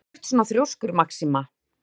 Af hverju ertu svona þrjóskur, Maxima?